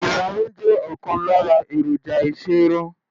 ìlarun jẹ́ ọ̀kan lára èròjà ìṣerun.